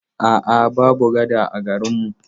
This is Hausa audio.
A'a, babu gada a garin mu.